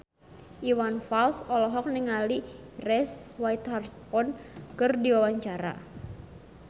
Iwan Fals olohok ningali Reese Witherspoon keur diwawancara